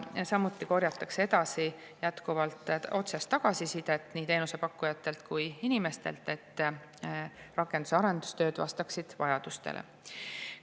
Samuti korjatakse jätkuvalt otsest tagasisidet nii teenusepakkujatelt kui ka inimestelt, et rakenduse arendustööd vastaksid vajadustele.